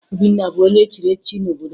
Obinna bụ onye echiri echichi n'obodo ya